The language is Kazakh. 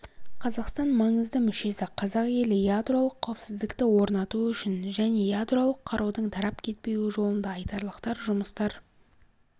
қазақстанмаңызды мүшесі қазақ елі ядролық қауіпсіздікті орнату үшін және ядролық қарудың тарап кетпеуі жолында айтарлықтар жұмыстар